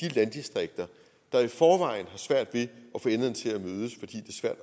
landdistrikter der i forvejen har svært ved